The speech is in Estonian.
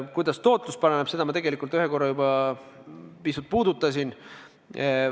Kuidas tootlus paraneb, seda ma korra juba pisut puudutasin.